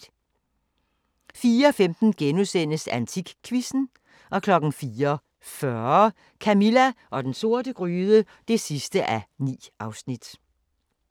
04:15: AntikQuizzen * 04:40: Camilla og den sorte gryde (9:9)